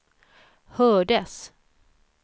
hördes